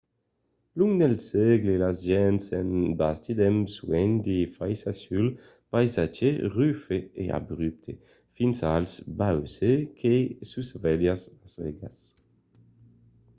long dels sègles las gents an bastit amb suènh de faissas sul païsatge rufe e abrupte fins als bauces que susvelhan las aigas